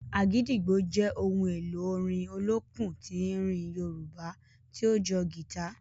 “Agidigbo” jẹ ohun èlò orin olókùn tín-ín-rín Yorùbá tí ó jọ gita.